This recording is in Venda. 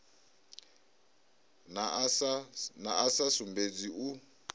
na a sa sumbedzi u